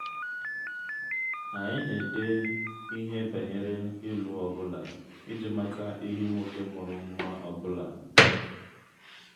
anyị na-ede ihe banyere ịlụ ọ bụla iji mata ehi nwoke mụrụ nwa ọ bụla